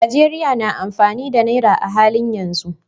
Najeriya na amfani da Naira a halin yanzu.